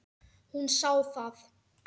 Hún sá það.